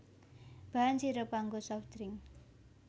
Bahan sirup kanggo soft drink